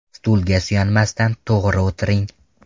Stulga suyanmasdan to‘g‘ri o‘tiring.